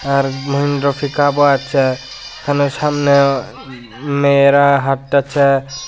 আর মহেন্দ্র ফিকাবো আছে এখানে সামনে মেয়েরা হাঁটতাছে।